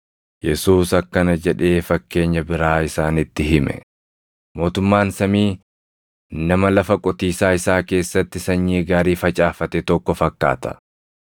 Yesuus akkana jedhee fakkeenya biraa isaanitti hime; “Mootummaan samii nama lafa qotiisaa isaa keessatti sanyii gaarii facaafate tokko fakkaata.